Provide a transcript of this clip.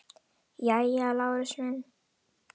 Jæja, Lárus minn.